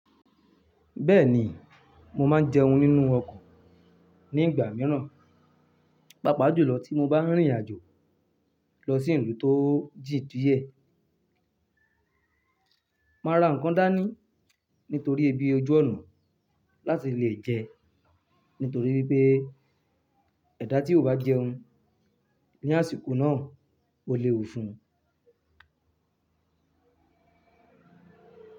Bẹ́ẹ̀ni, mo máa ń jẹun nínú ọkọ̀ ní ìgbà mìíràn, pàápàá jùlọ tí mo bá rìnrìn àjò lọ sí ìlú tó jíì díẹ̀. Máa ra ǹkan dání nítorí ebi ojú ọ̀nà láti le jẹ, nítorí pé ẹ̀dá tí o bá jẹun ní àsìkò náà, o le wù fún un.